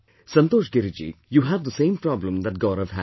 Santosh Giriji, you have the same problem that Gaurav has